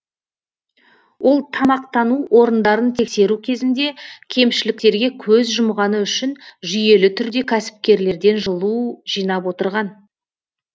ол тамақтану орындарын тексеру кезінде кемшіліктерге көз жұмғаны үшін жүйелі түрде кәсіпкерлерден жылу жинап отырған